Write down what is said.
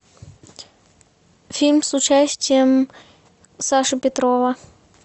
фильм с участием саши петрова